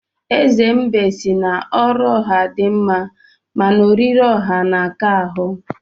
Eze mbe si na ọrụ ọha di mma, mana oriri ọha na-aka ahụ.